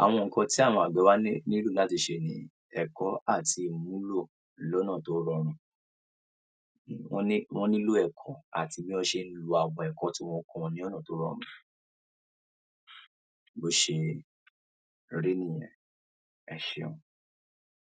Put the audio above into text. Àwọn nǹkan tí àwọn àgbẹ̀ tí àwọn àgbẹ̀ wa nílò láti ṣe ni ẹ̀kọ́ àti ìmúlò lọ́nà tó rọrùn. Wọ́n ní, wọ́n nílò ẹ̀kọ́ àti bí wọ́n ṣe ń lo àwọn ẹ̀kọ́ tí wọ́n kọ́ wọn ní ọ̀nà tó rọrùn. Bó ṣe rí nìyẹn, ẹ ṣeun.